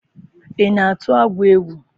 I na-atụ agwọ egwu?